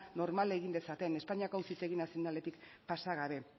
normal egin dezaten espainiako auzitegi nazionaletik pasa gabe